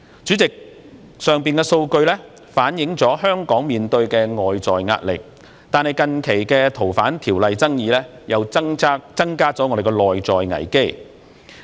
主席，上述數據反映出香港面對的外在壓力，但近期就修訂《逃犯條例》的爭議又增加了內在危機。